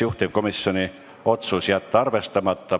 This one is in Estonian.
Juhtivkomisjoni otsus: jätta arvestamata.